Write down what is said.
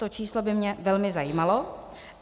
To číslo by mě velmi zajímalo.